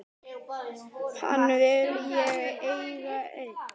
Hana vil ég eiga ein.